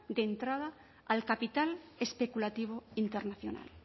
de entrada al capital especulativo internacional